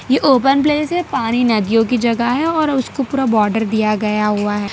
ये open place है पानी नदियों की जगह है और उसको पूरा बॉर्डर दिया गया हुआ है।